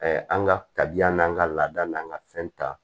an ka tabiya n'an ka laada n'an ka fɛn ta